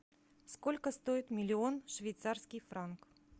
сколько стоит миллион швейцарский франк